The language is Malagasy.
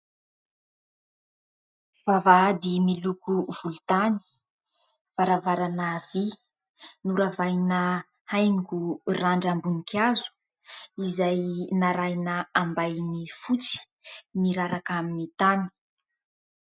Vavahady miloko volontany, varavarana vy noravahina haingo randram-boninkazo izay narahina ambainy fotsy miraraka amin'ny tany.